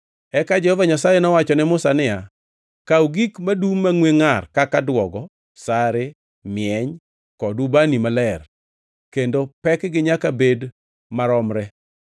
Eka Jehova Nyasaye nowacho ne Musa niya, “Kaw gik madum mangʼwe ngʼar kaka duogo, sare, mieny kod ubani maler, kendo pekgi nyaka bed maromre,